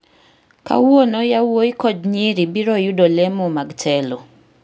Kawuono yawuowi kod nyiri biro yudo lemo mag telo